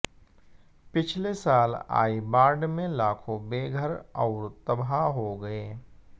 पिछले साल आई बाढ़ में लाखों बेघर और तबाह हो गए